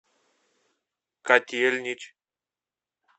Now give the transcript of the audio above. котельнич